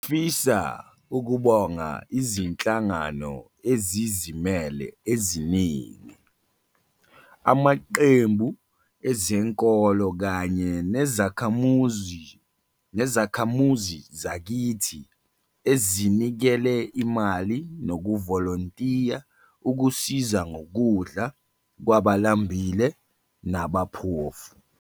Ngifisa ukubonga Izinhlangano Ezizimele, eziningi, amaqembu ezenkolo kanye nezakhamuzi nezakhamuzi zakithi ezinikele imali nokuvolontiya ukusiza ngokudla kwabalambile nabaphofu.